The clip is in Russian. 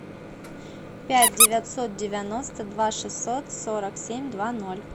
пять девятьсот девяносто два шестьсот сорок семь два ноль